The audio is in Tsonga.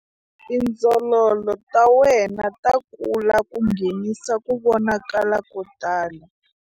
Tindzololo ta wena ta kula ku nghenisa ku vonakala ko tala.